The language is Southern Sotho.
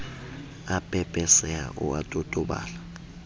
a pepeseha o a totobala